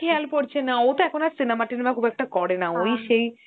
খেয়াল পরছে না, ও তো এখন cinema টিনেমা করে না ওই সেই